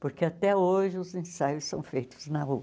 Porque até hoje os ensaios são feitos na rua.